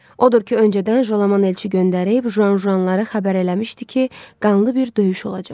Odur ki, öncədən Jolaman elçi göndərib Juanjuanları xəbər eləmişdi ki, qanlı bir döyüş olacaq.